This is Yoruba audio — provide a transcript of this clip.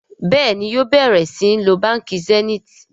Béèni yóò bẹrẹ sìn ló bánkì Zenith.